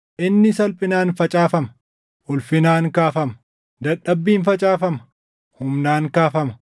Inni salphinaan facaafama; ulfinaan kaafama; dadhabbiin facaafama; humnaan kaafama;